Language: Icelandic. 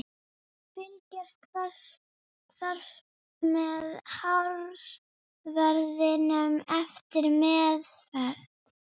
Fylgjast þarf með hársverðinum eftir meðferð.